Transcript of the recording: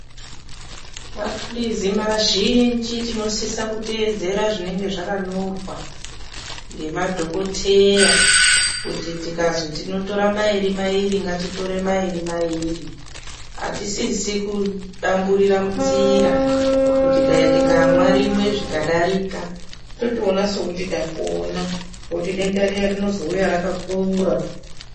Mapilizi mazhinji tinosisa kuteedzere zvinenge zvakanjorwa ngemadhokoteya kuti tikazwi tino tora mairi mairi ngatitore mairi mairi atisisi kudamburira munzira kuti dai tikamwa rimwe zvikadarika totoona sekuti tapona ngekuti denda riya rinozouya rakakura